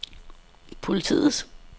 politiets